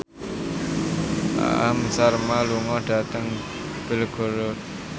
Aham Sharma lunga dhateng Belgorod